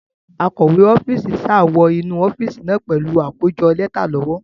Akọ̀we ọ́fíìsì sá wọ inú ọ́fíìsì náà pẹ̀lú àkójọ lẹ́tà lọ́wọ́.